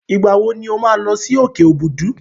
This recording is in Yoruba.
Ìgbà wọ ní o máa lọ sí òkè Òbùdù?